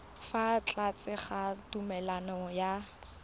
fa tlase ga tumalano ya